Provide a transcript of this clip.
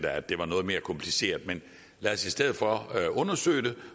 at det var noget mere kompliceret men lad os i stedet for undersøge det